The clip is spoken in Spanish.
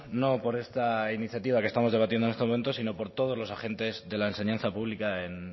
no por esta iniciativa que estamos debatiendo en estos momentos sino por todos los agentes de la enseñanza pública en